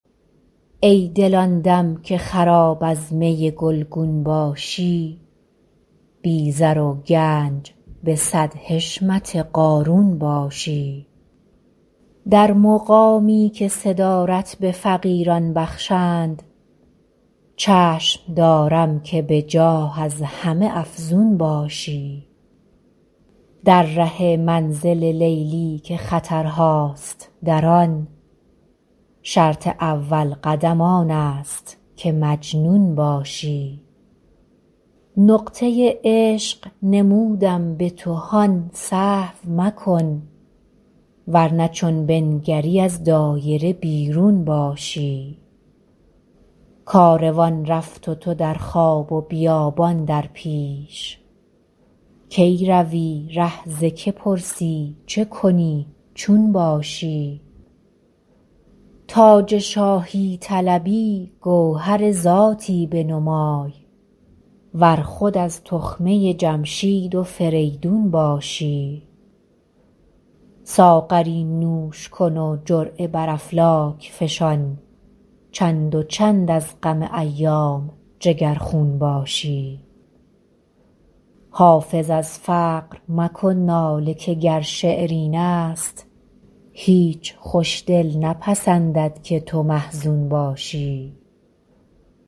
ای دل آن دم که خراب از می گلگون باشی بی زر و گنج به صد حشمت قارون باشی در مقامی که صدارت به فقیران بخشند چشم دارم که به جاه از همه افزون باشی در ره منزل لیلی که خطرهاست در آن شرط اول قدم آن است که مجنون باشی نقطه عشق نمودم به تو هان سهو مکن ور نه چون بنگری از دایره بیرون باشی کاروان رفت و تو در خواب و بیابان در پیش کی روی ره ز که پرسی چه کنی چون باشی تاج شاهی طلبی گوهر ذاتی بنمای ور خود از تخمه جمشید و فریدون باشی ساغری نوش کن و جرعه بر افلاک فشان چند و چند از غم ایام جگرخون باشی حافظ از فقر مکن ناله که گر شعر این است هیچ خوش دل نپسندد که تو محزون باشی